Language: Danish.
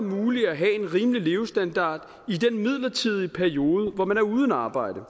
muligt at have en rimelig levestandard i den midlertidige periode hvor man er uden arbejde